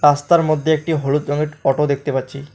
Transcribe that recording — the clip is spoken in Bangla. রাস্তার মদ্যে একটি হলুদ রঙেট অটো দেখতে পাচ্ছি।